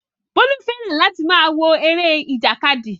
Bólú fẹ́ràn láti máa wo eré ìjàkadì